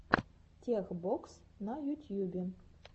тех бокс на ютьюбе